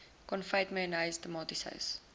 konfyt mayonnaise tomatiesous